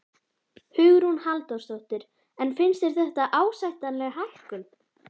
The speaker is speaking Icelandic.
Hugrún Halldórsdóttir: En finnst þér þetta ásættanleg hækkun?